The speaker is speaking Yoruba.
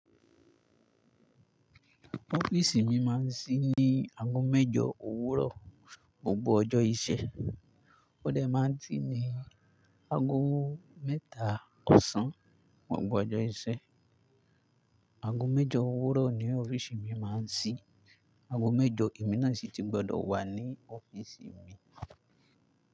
Ọ́fíìsì mi máa ń sí ní ago mẹ́jọ òwúrọ̀ gbogbo ọjọ́ ìṣẹ́, ó dẹ̀ máa ń ti ní ago mẹ́ta ọ̀sán gbogbo ọjọ́ ìṣẹ́. Ago mẹ́jọ òwúrọ̀ ni ọ́fíìsì mi máa ń ṣí, ago mẹ́jọ èmi náà sì ti gbọdọ̀ wà ní ọ́fíìsì mi.